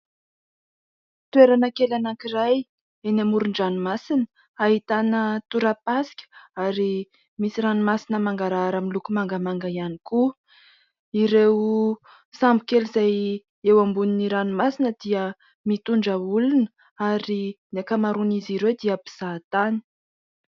Toerana kely anankiray eny amoron-dranomasina ahitana torapasika ary misy ranomasina mangarahara amin'ny loko mangamanga ihany koa. Ireo sambo kely izay eo ambonin'ny ranomasina dia mitondra olona ary ny ankamaroan'izy ireo dia mpizaha tany.